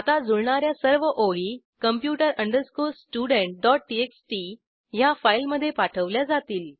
आता जुळणा या सर्व ओळी computer studenttxt ह्या फाईलमधे पाठवल्या जातील